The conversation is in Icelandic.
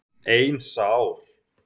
Ein sár.